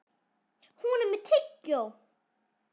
Hún er með tyggjó.